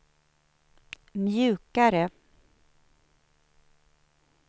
mjukare